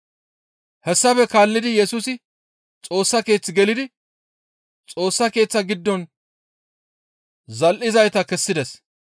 Hessafe kaallidi Yesusi Xoossa Keeththe gelidi Xoossa Keeththa giddon zal7izayta kessides.